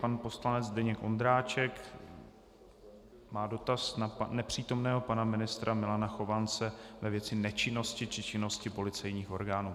Pan poslanec Zdeněk Ondráček má dotaz na nepřítomného pana ministra Milana Chovance ve věci nečinnosti či činnosti policejních orgánů.